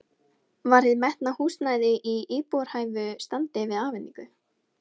Var hið metna húsnæði í íbúðarhæfu standi við afhendingu?